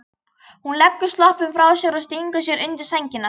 Hún leggur sloppinn frá sér og stingur sér undir sængina.